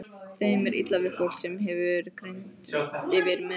Þeim er illa við fólk, sem hefur greind yfir meðallagi.